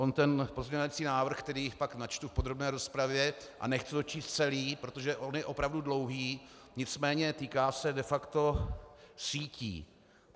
On ten pozměňovací návrh, který pak načtu v podrobné rozpravě, a nechci ho číst celý, protože on je opravdu dlouhý, nicméně týká se de facto sítí.